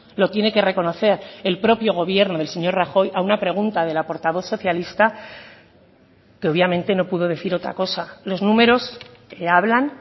lo tiene que reconocer el propio gobierno del señor rajoy a una pregunta de la portavoz socialista que obviamente no pudo decir otra cosa los números hablan